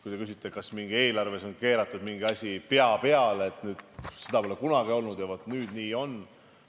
Kui te küsite, kas eelarves on keeratud mingi asi pea peale, et nüüd seda pole kunagi olnud ja vot nüüd nii on.